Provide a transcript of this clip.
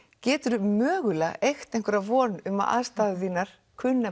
geturðu mögulega eygt einhverja von um að aðstæður þínar